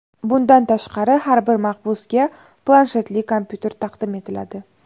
Bundan tashqari, har bir mahbusga planshetli kompyuter taqdim etiladi.